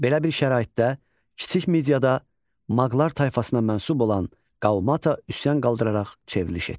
Belə bir şəraitdə kiçik Midiyada Maqlar tayfasına mənsub olan Qalmata üsyan qaldıraraq çevriliş etdi.